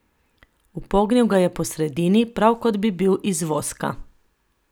Upognil ga je po sredini, prav kot bi bil iz voska.